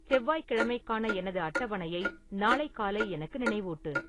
செவ்வாய்க்கிழமைக்கான எனது அட்டவணையை நாளை காலை எனக்கு நினைவூட்டு